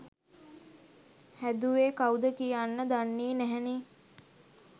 හැදුවේ කව්ද කියන්න දන්නේ නැහැනේ